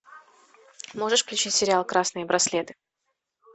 можешь включить сериал красные браслеты